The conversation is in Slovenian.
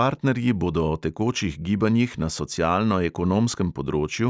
Partnerji bodo o tekočih gibanjih na socialno-ekonomskem področju